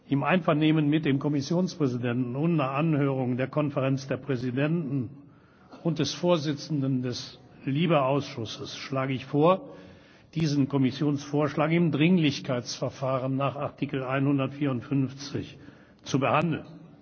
Im Einvernehmen mit dem Kommissionspräsidenten und nach Anhörung der Konferenz der Präsidenten und des Vorsitzenden des LIBE Ausschusses schlage ich vor, diesen Kommissionsvorschlag im Dringlichkeitsverfahren nach Artikel 154 zu behandeln.